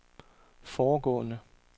foregående